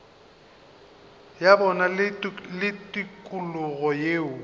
ya bona le tikologo yeo